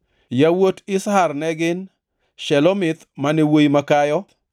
Yawuot Izhar ne gin: Shelomith mane wuowi makayo.